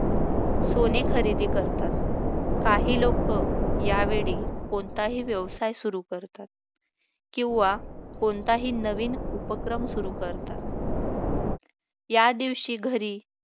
सोने खरेदी करतात काही लोक या वेळी कोणताही व्यवसाय सुरू करतात किंवा कोणताही नवीन उपक्रम सुरू करतात या दिवशी घरी